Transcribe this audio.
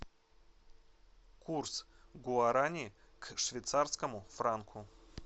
курс гуарани к швейцарскому франку